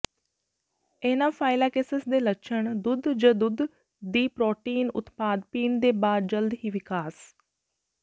anaphylaxis ਦੇ ਲੱਛਣ ਦੁੱਧ ਜ ਦੁੱਧ ਦੀ ਪ੍ਰੋਟੀਨ ਉਤਪਾਦ ਪੀਣ ਦੇ ਬਾਅਦ ਜਲਦੀ ਹੀ ਵਿਕਾਸ